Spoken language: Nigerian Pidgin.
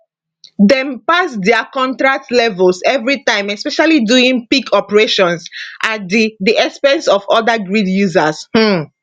dem pass dia contract levels evritime especially during peak operations at di di expense of oda grid users um